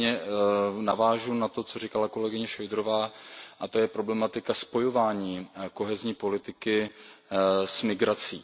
Nicméně navážu na to, co říkala kolegyně Šojdrová, a to je problematika spojování kohezní politiky s migrací.